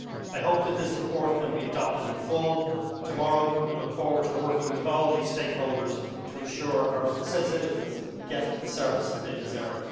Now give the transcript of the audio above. I hope that this report can be adopted in full tomorrow and look forward to working with all the stakeholders to ensure that our citizens get the services they deserve.